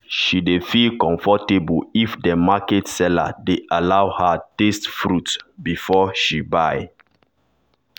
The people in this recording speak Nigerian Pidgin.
she dey feel comfortable if dem market seller dey allow her taste fruit before she buy.